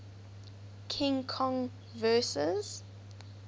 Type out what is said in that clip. king kong vs